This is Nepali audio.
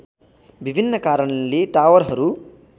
विभिन्न कारणले टावरहरू